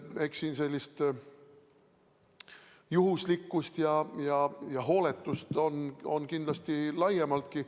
Eks siin sellist juhuslikkust ja hooletust on kindlasti laiemaltki.